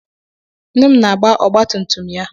Nne m na-agba ọgbatumtum ya.